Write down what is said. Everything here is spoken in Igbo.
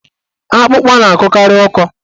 Akpụkpa na-akọkarị ọkọ.